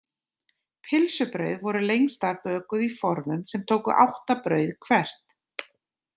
Pylsubrauð voru lengst af bökuð í formum sem tóku átta brauð hvert.